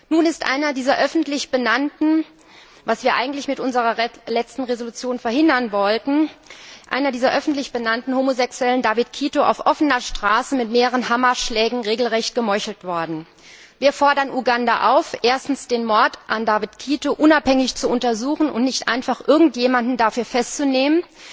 Nun ist was wir eigentlich mit unserer letzten Entschließung verhindern wollten einer dieser öffentlich benannten Homosexuellen, David Kato, auf offener Straße mit mehreren Hammerschlägen regelrecht gemeuchelt worden. Wir fordern Uganda auf, erstens den Mord an David Kato unabhängig zu untersuchen, und nicht einfach irgendjemanden dafür festzunehmen.